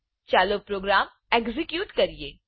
ચાલો program execute કરીએ